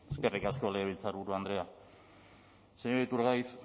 eskerrik asko legebiltzarburu andrea señor iturgaiz